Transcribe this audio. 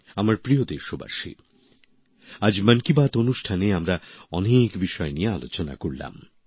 আমার প্রিয় দেশবাসী আজ মন কি বাত অনুষ্ঠানে আমরা অনেক বিষয় নিয়ে আলোচনা করলাম